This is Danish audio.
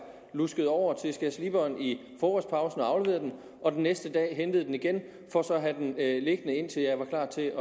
luskede over til skærsliberen i frokostpausen og afleverede den og den næste dag hentede den igen for så at have den liggende indtil jeg var klar til